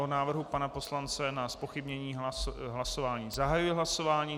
O návrhu pana poslance na zpochybnění hlasování zahajuji hlasování.